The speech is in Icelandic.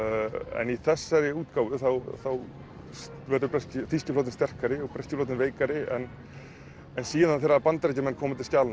en í þessari útgáfu þá verður þýski flotinn sterkari og breski flotinn veikari en síðan þegar Bandaríkjamenn koma til skjalanna